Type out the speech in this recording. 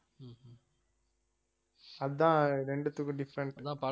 அதான் ரெண்டுத்துக்கும் different